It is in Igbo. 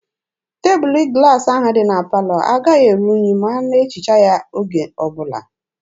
Tebụlụ glaasị ahụ dị na palọ agaghị eru unyi ma a na-ehicha ya oge ọbụla.